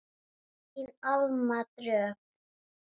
Þín Alma Dröfn.